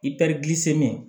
I bɛ